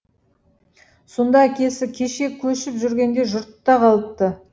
сонда әкесі кеше көшіп жүргенде жұртта қалыпты